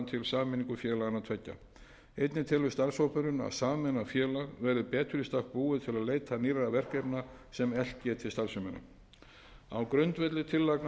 sameiningu félaganna tveggja einnig telur starfshópurinn að sameinað félag verði betur í stakk búið til að leita nýrra verkefna sem eflt geti starfsemina á grundvelli tillagna